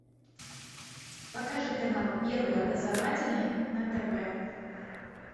покажи канал первый образовательный на тв